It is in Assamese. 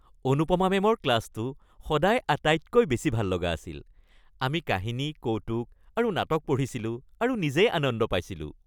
অনুপমা মেমৰ ক্লাছটো সদায় আটাইতকৈ বেছি ভাললগা আছিল। আমি কাহিনী, কৌতুক আৰু নাটক পঢ়িছিলো আৰু নিজেই আনন্দ পাইছিলোঁ।